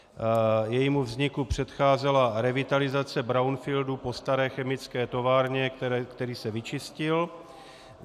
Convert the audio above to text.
Jejímu vzniku předcházela revitalizace brownfieldu po staré chemické továrně, který se vyčistil.